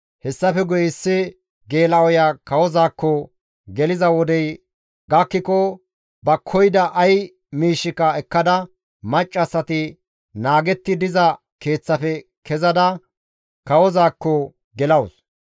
Hessafe guye issi geela7oya kawozaakko geliza wodey gakkiko, ba koyida ay miishshika ekkada maccassati naagetti diza keeththafe kezada kawozaakko gelawus.